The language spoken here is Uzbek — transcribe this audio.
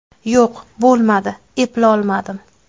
Yo‘q, bo‘lmadi, eplolmadim.